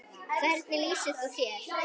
Hvernig lýsir þú þér?